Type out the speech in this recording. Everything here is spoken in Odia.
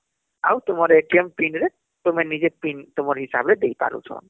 ଆଉ ତୁମ Pin ରେ ତୁମେ ନିଜେ pin ତୁମର ହିସାବରେ ଦେଇପାରୁଛ